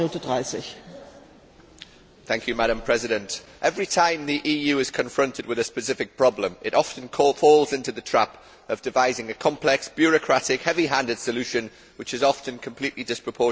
Madam President, every time the EU is confronted with a specific problem, it falls into the trap of devising a complex, bureaucratic, heavy handed solution which is often completely disproportionate to the severity of the issue.